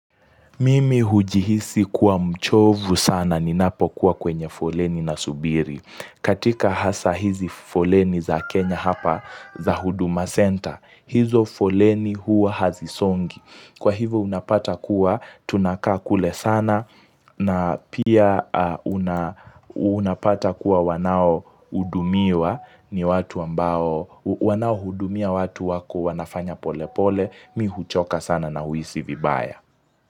Mimi hujihisi kuwa mchovu sana ninapo kuwa kwenye foleni nasubiri. Katika hasa hizi foleni za kenya hapa za huduma senta. Hizo foleni huwa hazisongi. Kwa hivo unapata kuwa tunakaa kule sana na pia unapata kuwa wanao hudumiwa ni watu ambao wanao hudumia watu wako wanafanya polepole. Mimi huchoka sana na huhisi vibaya.